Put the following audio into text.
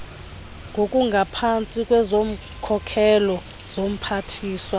ngokungaphantsi kwezokhokhelo zomphathiswa